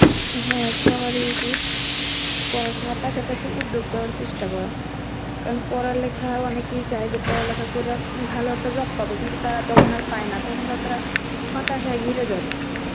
হ্যাঁ সবারই উচিত পড়াশুনার পাশাপাশি উদ্যোক্তা হওয়ার চেষ্টা করা. কারণ পড়ালেখায় অনেকেই চায় যে যে পড়ালেখা করে আম ভালো একটা job পাবো কিন্তু তারা তখন আর পায় না, তখন তাদরা হতাশায় ঘিরে ধরে